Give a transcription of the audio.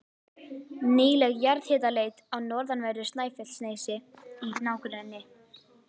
Nýleg jarðhitaleit á norðanverðu Snæfellsnesi í nágrenni